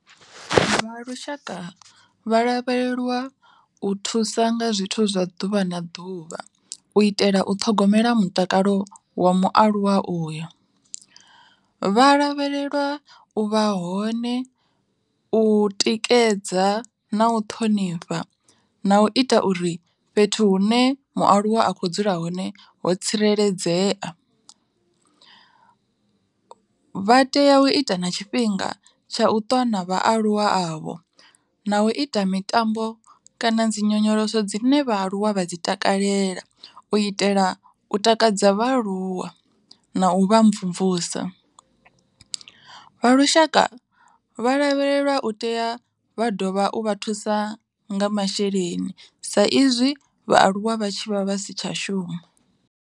Vha lushaka vha lavheleliwa u thusa nga zwithu zwa ḓuvha na ḓuvha, u itela u ṱhogomela mutakalo wa mualuwa uyo. Vha lavheleliwa u vha hone, u tikedza na u ṱhonifha na u ita uri fhethu hu ne mualuwa a kho dzula hone ho tsireledzea. Vha tea u ita na tshifhinga tsha u twa na vhaaluwa avho na u ita mitambo kana dzi nyonyoloso dzine vhaaluwa vha dzi takalela u itela u takadza vhaaluwa, na u vha mvumvusa. Vha lushaka vha lavhelelwa u tea vha ḓovha u vha thusa nga masheleni sa izwi vhaaluwa vha tshi vha vha si tsha shuma.